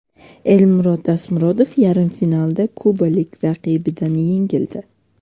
Elmurod Tasmurodov yarim finalda kubalik raqibidan yengildi.